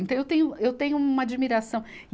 Então eu tenho, eu tenho uma admiração.